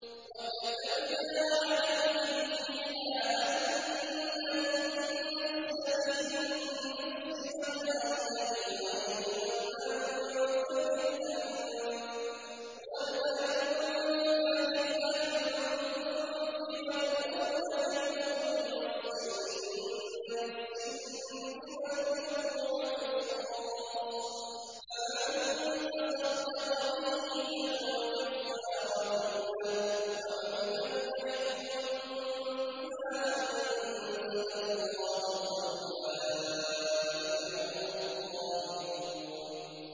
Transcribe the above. وَكَتَبْنَا عَلَيْهِمْ فِيهَا أَنَّ النَّفْسَ بِالنَّفْسِ وَالْعَيْنَ بِالْعَيْنِ وَالْأَنفَ بِالْأَنفِ وَالْأُذُنَ بِالْأُذُنِ وَالسِّنَّ بِالسِّنِّ وَالْجُرُوحَ قِصَاصٌ ۚ فَمَن تَصَدَّقَ بِهِ فَهُوَ كَفَّارَةٌ لَّهُ ۚ وَمَن لَّمْ يَحْكُم بِمَا أَنزَلَ اللَّهُ فَأُولَٰئِكَ هُمُ الظَّالِمُونَ